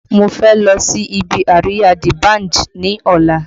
Mo fẹ́ lọ sí ibi àríyá D Banj ní ọ̀la